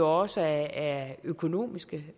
også af økonomiske